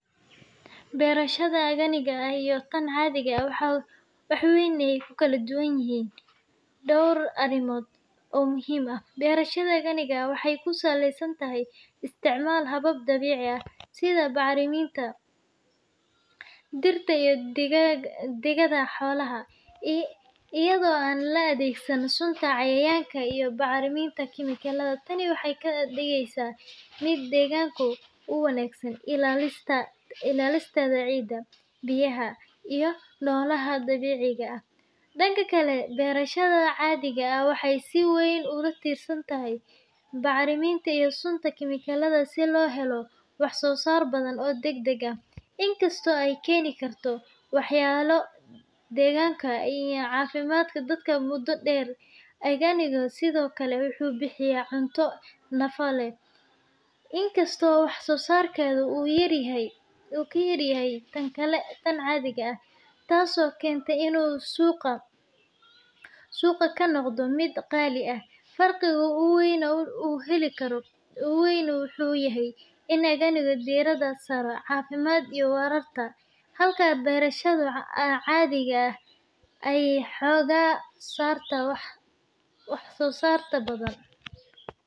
Beerashada aganiga ah iyo tan caadiga ah waxay ku kala duwan yihiin dhowr arrimood oo muhiim ah. Beerashada aganiga ah waa hab dabiici ah oo aan isticmaalin wax kiimiko ah sida bacriminta warshadaysan ama sunta cayayaanka, halka beerashada caadiga ah ay si weyn ugu tiirsan tahay kiimikooyin si kor loogu qaado wax-soo-saarka. Sidoo kale, beerashada arganiga ah waxay ilaalisaa deegaanka iyadoo xoogga saaraysa ilaalinta carrada, biyaha, iyo noocyada kala duwan ee noolaha. Tani waxay ka dhigeysaa arganiga mid waara oo badbaado u leh deegaanka iyo caafimaadka dadka. Dhanka kale, beerashada caadiga ah, inkasta oo ay keento wax-soo-saar degdeg ah, waxay halis u tahay wasakheynta deegaanka iyo hoos u dhaca tayada carrada. Sidaas darteed, farqiga ugu muhiimsan wuxuu yahay in beerashada arganiga ah ay tahay mid ku dhisan ilaalinta dabiiciga iyo caafimaadka, halka beerashada caadiga ah ay mudnaanta siiso wax-soo-saarka badhan.